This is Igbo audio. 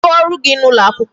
Kedụ ọrụ gị n'ụlọ akwụkwọ?